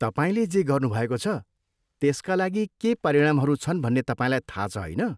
तपाईँले जे गर्नुभएको छ, त्यसका लागि के परिणामहरू छन् भन्ने तपाईँलाई थाहा छ, होइन?